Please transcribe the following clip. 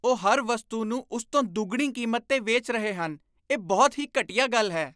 ਉਹ ਹਰ ਵਸਤੂ ਨੂੰ ਉਸ ਤੋਂ ਦੁੱਗਣੀ ਕੀਮਤ 'ਤੇ ਵੇਚ ਰਹੇ ਹਨ। ਇਹ ਬਹੁਤ ਹੀ ਘਟੀਆ ਗੱਲ ਹੈ।